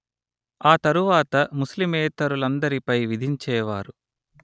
ఆ తరువాత ముస్లిమేతరులందరిపై విధించేవారు